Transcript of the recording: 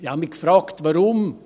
Ich fragte mich: